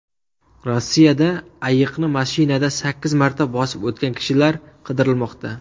Rossiyada ayiqni mashinada sakkiz marta bosib o‘tgan kishilar qidirilmoqda .